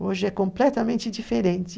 Hoje é completamente diferente.